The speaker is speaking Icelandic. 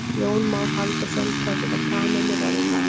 Jón Már Halldórsson: Hvað geta kanínur orðið gamlar?